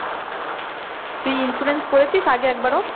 তুই insurance করেছিস আগে একবারও?